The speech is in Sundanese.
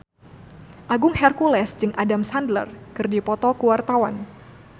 Agung Hercules jeung Adam Sandler keur dipoto ku wartawan